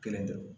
Kelen dɔrɔn